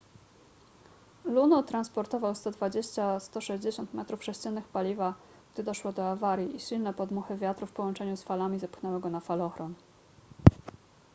luno transportował 120-160 metrów sześciennych paliwa gdy doszło do awarii i silne podmuchy wiatru w połączeniu z falami zepchnęły go na falochron